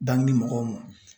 Bankini mɔgɔw ma.